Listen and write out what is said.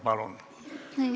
Palun!